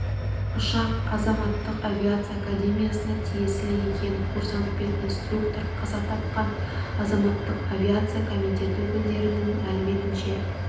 ұшақ азаматтық авиация академиясына тиесілі екен курсант пен инструктор қаза тапқан азаматтық авиация комитеті өкілдерінің мәліметінше